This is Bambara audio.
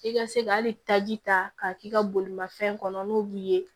I ka se ka hali taji ta k'a k'i ka bolimanfɛn kɔnɔ n'o b'i ye